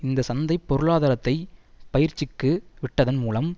இந்த சந்தை பொருளாதாரத்தை பயிற்சிக்கு விட்டதன் மூலம்